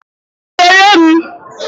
Zere m!